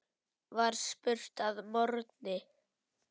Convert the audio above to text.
var spurt að morgni.